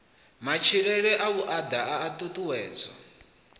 matshilele a vhuaḓa a ṱuṱuwedzwa